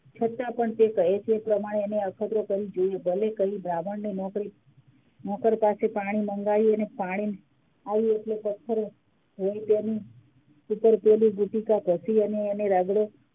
છતાં પણ કહે છે તે પ્રમાણે અખતરો કરી જોયું ભલે કઈ બ્રાહ્મણે નોકર પાસે પાણી મંગાવ્યું અને પાણી આવ્યું એટલે પથ્થર હોય તેમ દુંટીક ઘસી અને રગડું